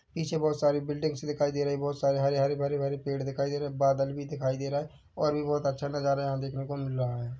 पीछे बहोत सारी बिल्डिंग्स दिखाई दे रहीं हैबहोत सारे हरे-हरे भरे-भरे पेड़ दिखाई दे रहे है बादल भी दिखाई दे रहा और भी बहोत अच्छा नजारा यहाँ देखने को मिल रहा है।